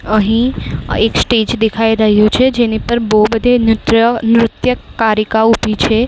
અહીં એક સ્ટેજ દેખાય રહ્યુ છે જેની પર બહુ બધી નૃત્ય નૃત્યકારીકા ઉભી છે.